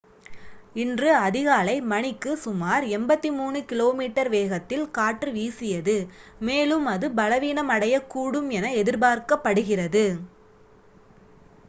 இன்று அதிகாலை மணிக்கு சுமார் 83 km வேகத்தில் காற்று வீசியது மேலும் அது பலவீனமடையக்கூடும் என எதிர்பார்க்கப்படுகிறது